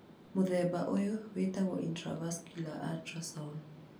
Mũthemba ũyũ wĩtagwo intravascular ultrasound.